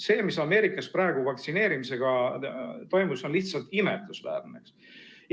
See, mis Ameerikas praegu vaktsineerimisega toimus, on lihtsalt imetlusväärne.